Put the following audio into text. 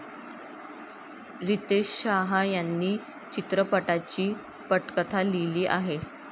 रितेश शहा यांनी चित्रपटाची पटकथा लिहिली आहे.